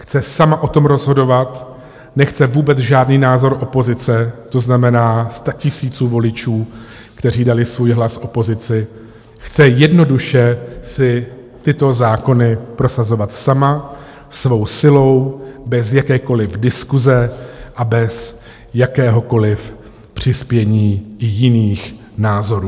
Chce sama o tom rozhodovat, nechce vůbec žádný názor opozice, to znamená statisíců voličů, kteří dali svůj hlas opozici, chce jednoduše si tyto zákony prosazovat sama, svou silou, bez jakékoliv diskuse a bez jakéhokoliv přispění jiných názorů.